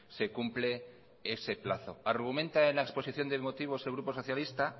se cumple ese plazo argumenta en la exposición de motivos el grupo socialista